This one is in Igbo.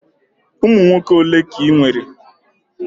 Ụmụ nwoke ole ka ị nwere?